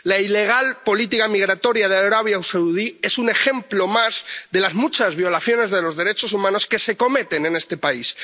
La ilegal política migratoria de Arabia Saudí es un ejemplo más de las muchas violaciones de los derechos humanos que se cometen en este país.